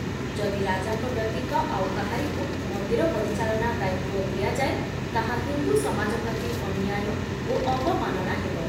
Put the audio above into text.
ଯଦି ରାଜାଙ୍କ ବ୍ୟତୀତ ଆଉ କାହାରିକୁ ମନ୍ଦିର ପରିଚାଳନା ଦାୟିତ୍ଵ ଦିଆଯାଏ, ତାହା ହିନ୍ଦୁ ସମାଜ ପ୍ରତି ଅନ୍ୟାୟ ଓ ଅବମାନନା ହେବ